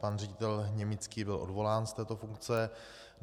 Pan ředitel Němický byl odvolán z této funkce.